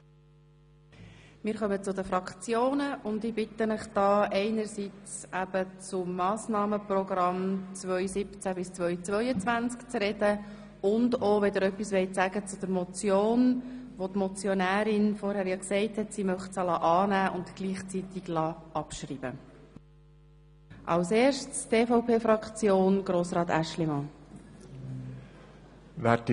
Wir kommen zu den Fraktionserklärungen, und ich bitte Sie, sowohl zum Massnahmenprogramm 2017í2022 zu sprechen wie auch zur Motion, welche die Motionärin annehmen und gleichzeitig abschreiben lassen möchte.